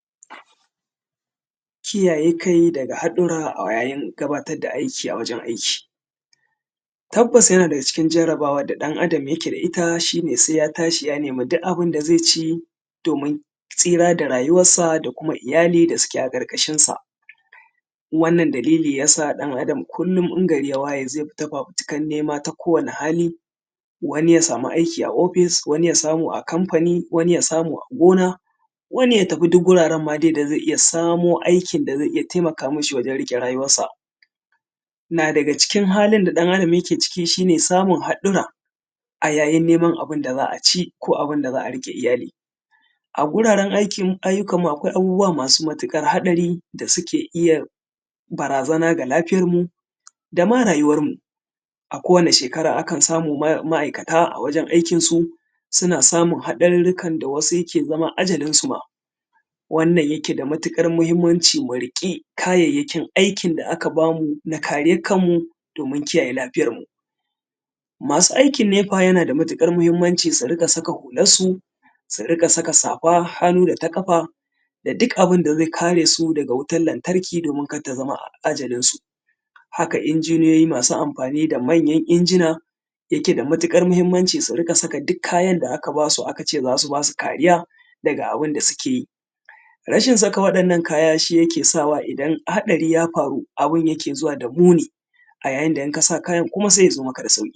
Kiyaye kai daga haɗurra ayayin gabatar da aiki a wajen aiki. Tabbas yana daga cikin jarabawar da ɗan-adam yake da ita, shi ne sai ya tashi ya nemi duk abin da zai ci domin tsira da rayuwarsa da kuma iyali da suke a ƙarƙashinsa. Wannan dalili ya sa ɗan-adam kullum in gari ya waye zai fita fafutukar nema ta kowane hali, wani ya samu aiki a ofis, wani ya samu a kamfani, wani ya samu a gona, wani ya tafi ma duk wuraren ma dai da zai iya samo aikin da zai iya tamaka mashi wajen tafiyar da rayuwarsa. Na daga cikin halin da ɗan-adam yake aciki shi ne haɗurra a yayin neman abin da za a ci ko abin da za a riƙe iyali. A wuraren aiki ayyukanmu akwai abubuwa masu matuƙar haɗari da suke iya barazana akan lafiyarmu da ma rayuwarmu. A kowane shekara akan samu ma’aikata a wajen aikinsu suna samun haɗarurrukan da wasu yake zama ajalinsu ma, wannan yake da matuƙar mahimmanci mu riƙi kayayyakin aikin da aka bamu na kariyan kanmu domin kiyaye lafiyarmu. Masu aikin nepa yana da matuƙar mahimmanci su riƙa saka hularsu, su riƙa saka safar hannu da ta ƙafa, da duk abin da zai kare su daga wutan lantarki domin kada ta zama ajalinsu. Haka injiniyoyi masu amfani da manyan injina, yake da matuƙar mahimmanci su riƙa saka duk kayan da aka ba su aka ce za su ba su kariya daga abin da suke yi. Rashin saka waɗannan kaya shi yake sawa idan haɗari ya faru abin yake zuwa da muni, a yayin da in ka sa kayan kuma yakan zo maka da sauƙi.